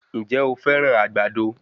Ǹjẹ́ o fẹ́ràn àgbàdo?